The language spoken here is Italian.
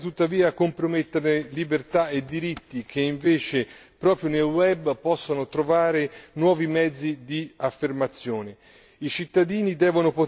più inclusiva e sicura, senza tuttavia comprometterne libertà e diritti che invece, proprio nel web, possono trovare nuovi mezzi di affermazione.